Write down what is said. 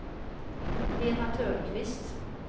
Lena Törnqvist